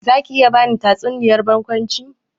Zaki iya bani tatsuniyar barkwanci?